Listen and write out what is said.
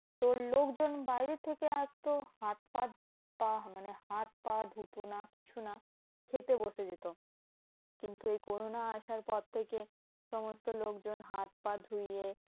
তোর লোকজন বাইরের থেকে আসতো হাত ফাত পা মানে হাত পা ধুত না, কিছু না খেতে বসে যেত। কিন্তু এই corona আসার পর থেকে সমস্ত লোকজন হাত পা ধুয়ে